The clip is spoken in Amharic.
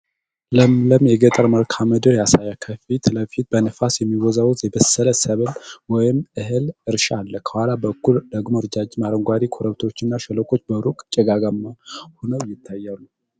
ለምለም የገጠር መልክዓ ምድር ያሳያል። ከፊት ለፊት በነፋስ የሚወዛወዝ የበሰለ የሰብል (እህል) እርሻ አለ። ከኋላ በኩል ደግሞ ረጃጅም አረንጓዴ ኮረብታዎችና ሸለቆዎች በሩቅ ጭጋጋማ ሆነው ይታያሉ።